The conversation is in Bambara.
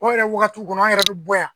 O yɛrɛ wagati kɔnɔ an yɛrɛ bɛ bɔ yan